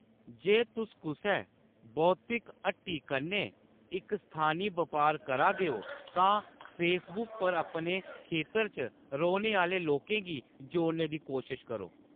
जे तुस कुसै बौतिक हट्टी कन्नै इक स्थानी बपार करा दे ओ तां फेसबुक पर अपने खेतर च रौह्‌‌‌ने आह्‌‌‌ले लोकें गी जोड़ने दी कोशश करो।